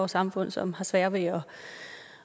samfund som har sværere ved at